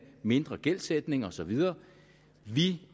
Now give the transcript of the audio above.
mindre gældsætning og så videre vi